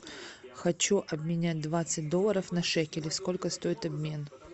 хочу обменять двадцать долларов на шекели сколько стоит обмен